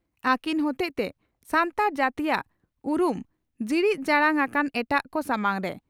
ᱟᱹᱠᱤᱱ ᱦᱚᱛᱮᱡᱛᱮ ᱥᱟᱱᱛᱟᱲ ᱡᱟᱹᱛᱤᱭᱟᱜ ᱩᱨᱩᱢ ᱡᱤᱲᱤᱫ ᱡᱟᱲᱟᱝ ᱟᱠᱟᱱᱟ ᱮᱴᱟᱜ ᱠᱚ ᱥᱟᱢᱟᱝ ᱨᱮ ᱾